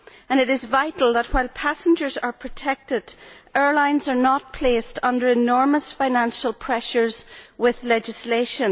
It is vital that, while passengers are protected, airlines are not placed under enormous financial pressures with legislation.